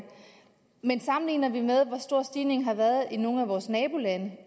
men sammenligner vi med hvor stor stigningen har været i nogle af vores nabolande